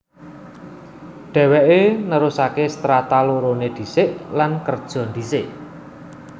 Dhèwèké nerusaké Strata loroné ndhisik lan kerja ndhisik